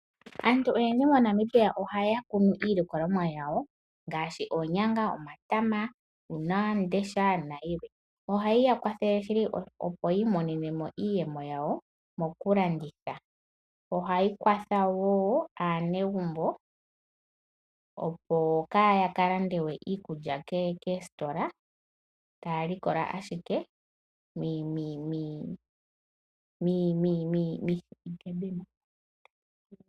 Aantu oyendji moNamibia ohaya kunu iilikolomwa yawo ngaashi oonyanga, omatama, uunawamundesha nayilwe. Ohayi ya kwathele, opo yi imonene mo iiyemo yawo mokulanditha. Ohayi kwatha wo aanegumbo, opo kaaya ka lande we iikulya koositola taya likola ashike miikunino yawo.